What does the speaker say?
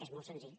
és molt senzill